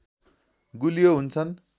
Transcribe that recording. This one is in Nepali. गुलियो हुन्छन्